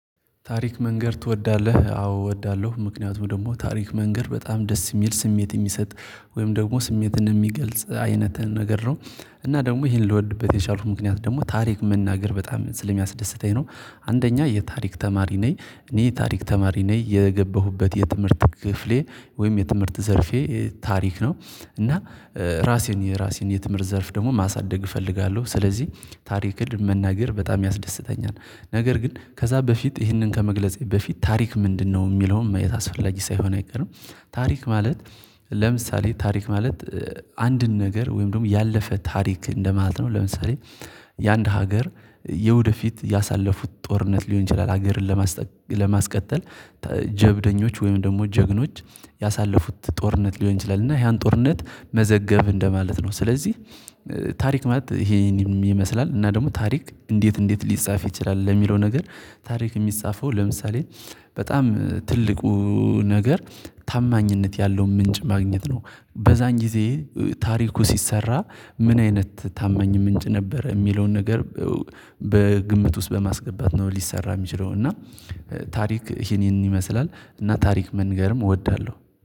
ታሪክ መንገር ትወዳለህ? አዎ እወዳለሁ ምክንያቱም ደግሞ ታሪክ መንገር በጣም ደስ የሚል ስሜት የሚሰጥ ወይም ደግሞ ስሜትን የሚገልጽ አይነት ነገር ነው። እና ደግሞ ይሄን ልወድበት የቻልኩበት ምክንያት ደግሞ ታሪክ መናገር በጣም ስለሚያስደስተኝ ነው። አንደኛ የታሪክ ተማሪ ነኝ እኔ ታሪክ ተማሪ ነኝ የገባሁበት የትምህርት ክፍሌ ወይም የትምህርት ዘርፌ ታሪክ ነው። እና ራሴን የራሴን የትምህርት ዘርፍ ደግሞ ማሳደግ እፈልጋለሁ ስለዚህ ታሪክን መናገር በጣም ያስደስተኛል። ነገር ግን ከዛ በፊት ይህንን ከመግለጼ በፊት ታሪክ ምንድነው? የሚለውን ማየት አስፈላጊ ሳይሆን አይቀርም። ታሪክ ማለት ለምሳሌ ታሪክ ማለት አንድን ነገር ወይም ደግሞ ያለፈ ታሪክ እንደማለት ነው። ለምሳሌ የአንድ ሀገር የወደፊት ያሳለፉት ጦርነት ሊሆን ይችላል። ሀገርን ለማስቀጠል ጀብደኞች ወይም ደግሞ ጀግኖች ያሳለፉት ጦርነት ሊሆን ይችላል። እና ያን ጦርነት መዘገብን እንደማለት ነው። ስለዚህ ታሪክ ማለት ይሄን ይመስላል። እና ደግሞ ታሪክ እንዴት እንዴት ሊጻፍ ይችላል? ለሚለው ነገር ታሪክ የሚጻፈው ለምሳሌ በጣም ትልቁ ነገር ታማኝነት ያለው ምንጭ ማግኘት ነው። በዛን ጊዜ ታሪኩ ሲሰራ ምን አይነት ታማኝ ምንጭ ነበረ የሚለውን ነገር በግምት ውስጥ በማስገባት ነው ሊሰራ የሚችለው። እና ታሪክ ይሄንን ይመስላል እና ታሪክ መንገርም እወዳለሁ